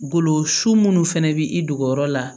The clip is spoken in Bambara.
Bolo su munnu fɛnɛ bi i dogoyɔrɔ la